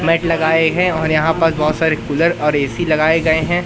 Mat लगाए है और यहां पास बहोत सारे कूलर और ए_सी लगाए गए है।